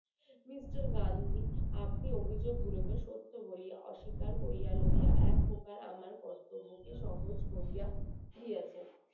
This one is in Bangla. mister গান্ধী আপনি অভিযোগগুলো সত্য গুলোকে অস্বীকার করিয়া লইয়া একপ্রকার আমার কর্তব্য কে সহজ করিয়া দিয়াছেন